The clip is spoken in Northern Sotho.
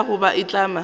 ikana goba go itlama go